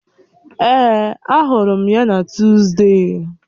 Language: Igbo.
Èè, ahụrụ m ya na Tuzdee